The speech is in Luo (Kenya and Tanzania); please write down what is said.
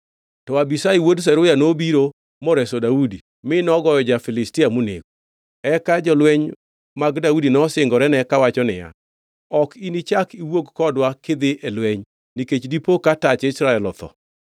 To Abishai wuod Zeruya nobiro moreso Daudi mi nogoyo ja-Filistia monego. Eka jolweny mag Daudi nosingorene kawacho niya, “Ok inichak iwuog kodwa kidhi e lweny, nikech dipo ka tach Israel otho.”